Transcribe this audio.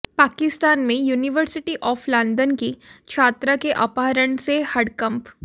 पाकिस्तान में university of London की छात्रा के अपहरण से हड़कंप